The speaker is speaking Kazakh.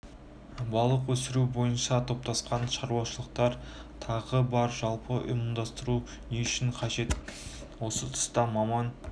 балық өсіру бойынша топтасқан шаруашылықтар тағы бар жалпы ұжымдастыру не үшін қажет осы тұста маман